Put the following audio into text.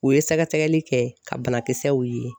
U ye sɛgɛsɛgɛli kɛ ka banakisɛw ye.